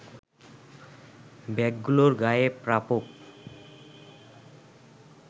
ব্যাগগুলোর গায়ে প্রাপক